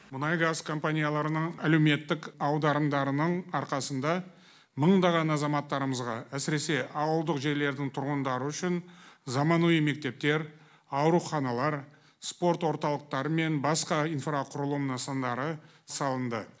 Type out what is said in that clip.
мұнай газ компанияларының әлеуметтік аударымдарының арқасында мыңдаған азаматтарымызға әсіресе ауылдық жерлердің тұрғындары үшін заманауи мектептер ауруханалар спорт орталықтары мен басқа инфрақұрылым нысандары салынды